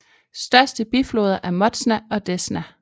Største bifloder er Motsja og Desna